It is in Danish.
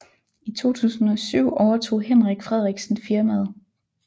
I 2007 overtog Henrik Frederiksen firmaet